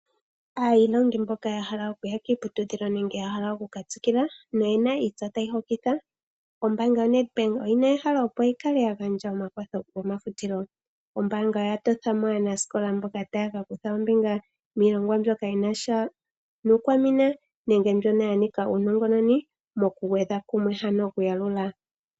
Aailongi mboka ya hala okuya kiiputudhilo nenge ya hala oku ka tsikila noyena iitsa tayi hokitha, ombaanga yoNedbank oyi na ehalo opo yi kale ya gandja omakwatho gomafutilo. Ombanga oya totha mo aanasikola mboka taya ka kutha ombinga miilongwa mbyoka yi na sha nuukwamina nenge mbyono ya nika uunongononi mokugwedha kumwe ano okuyalula.